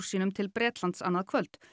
sínum til Bretlands annað kvöld